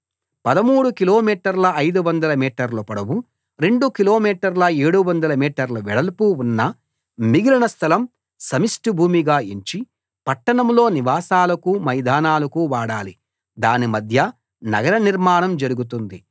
13 కిలోమీటర్ల 500 మీటర్ల పొడవు రెండు కిలోమీటర్ల 700 మీటర్ల వెడల్పు ఉన్న మిగిలిన స్థలం సమిష్టి భూమిగా ఎంచి పట్టణంలో నివాసాలకు మైదానాలకు వాడాలి దాని మధ్య నగర నిర్మాణం జరుగుతుంది